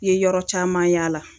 I ye yɔrɔ caman yala